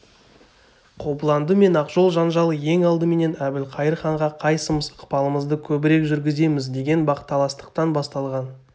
қобыланды мен ақжол жанжалы ең алдыменен әбілқайыр ханға қайсымыз ықпалымызды көбірек жүргіземіз деген бақталастықтан басталған